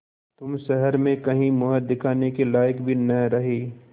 तुम शहर में कहीं मुँह दिखाने के लायक भी न रहे